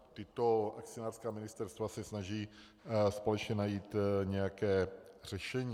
Tato akcionářská ministerstva se snaží společně najít nějaké řešení.